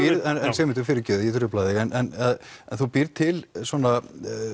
Sigmundur að ég trufla þig en þú býrð til svona